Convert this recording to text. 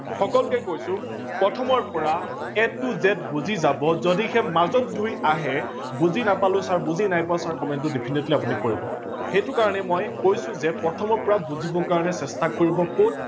সকলোকে কৈছো প্ৰথমৰ পৰা A to Z বুজি যাব যদিহে মাজত ধৰি আহে বুজি নাপালো ছাৰ বুজি নাই পোৱা ছাৰ comment ত definitely আপোনি কৰিব।